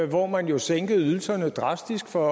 hvor man jo sænkede ydelserne drastisk for